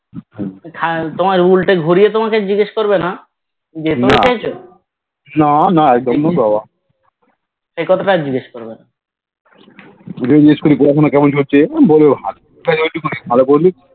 তোমার উল্টে ঘুরে জিজ্ঞেস তোমাকে জিজ্ঞেস করবেন যে তুমি খেয়েছো এ কথাটা আর জিজ্ঞেস করবেনা